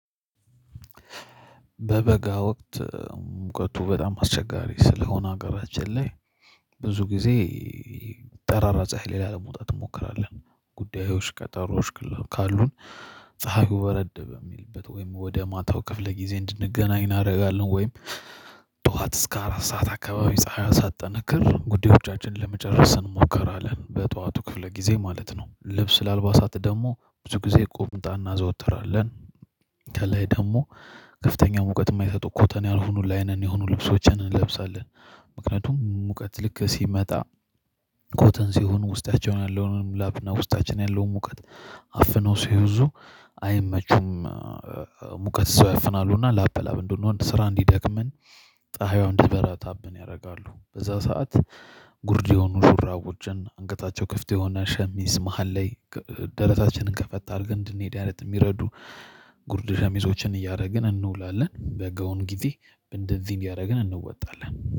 በበጋ ወቅት ሙቀቱ በጣም አስቸጋሪ ስለሆነ ሀገራችን ላይ ብዙ ጊዜ ጠራራ ፀሀይ ሌላ ላለመውጣት እንሞክራለን። ጉዳዮች ቀጠሮዎች ግለሉ ካሉን ፀሀዩ በረድ የሚልበት ወይም ወደ ማታው ክፍለ ጊዜ እንድንገናኝ እናደርጋለን። ወይም ጠዋት እስከ አራት ሰዓት አካባቢ ፀሀይ ሳትጠነክር ጉዳዮቻችንን ለመጨረስ እንሞክራለን በጧቱ ክፍለ ጊዜ ማለት ነው። ልብስ ለአልባሳት ደግሞ ብዙ ጊዜ ቁምጣ እናዘወትራለን። ከላይ ደግሞ ከፍተኛ ሙቀት የማይሰጡ ኮተን ያልሆኑ ላይንን የሆኑ ልብሶችን እንለብሳለን። ምክንያቱም ሙቀት ልክ ሲመጣ ኮተን ሲሆን ውስጣቸውን ያለውንም ላብና ውስጣችን ያለውን ሙቀት አፍነው ሲይዙ አይመቹም። ሙቀት ሰው ያፍናሉና ላብ በላብ እንደው ነው ስራ እንዲደክምን። ፀሀይዋን እንዲበራ ታብን ያደርጋሉ በዛ ሰዓት ጉርድ የሆኑ ሹራቦችን አንገታቸው ክፍት የሆነ ሸሚዝ መሃል ላይ ደረታችንን ከፈት አርገን እንድንሄድ አይነት የሚረዱ ጉርድ ሸሚዞችን እያደረግን እንውላለን። በጋውን ጊዜ እንደዚህ ቢያደርግን እንወጣለን።